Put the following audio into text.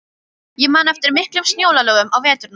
Ég man eftir miklum snjóalögum á veturna.